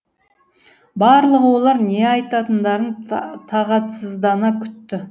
барлығы олар не айтатындарын тағатсыздана күтті